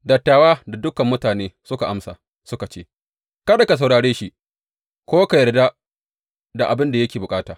Dattawa da dukan mutane suka amsa, suka ce, Kada ka saurare shi ko ka yarda da abin da yake bukata.